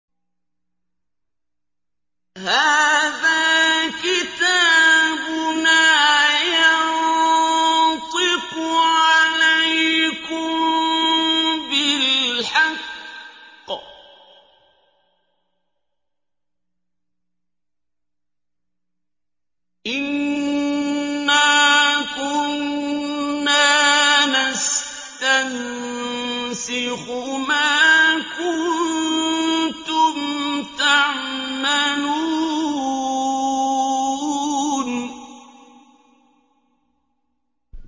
هَٰذَا كِتَابُنَا يَنطِقُ عَلَيْكُم بِالْحَقِّ ۚ إِنَّا كُنَّا نَسْتَنسِخُ مَا كُنتُمْ تَعْمَلُونَ